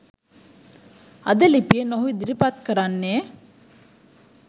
අද ලිපියෙන් ඔහු ඉදිරිපත් කරන්නේ